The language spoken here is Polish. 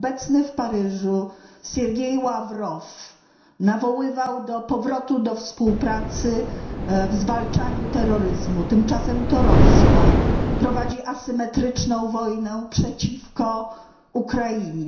Obecny w Paryżu Siergiej Ławrow nawoływał do powrotu do współpracy w zwalczaniu terroryzmu. Tymczasem to Rosja prowadzi asymetryczną wojnę przeciwko Ukrainie.